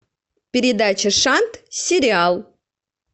передача шант сериал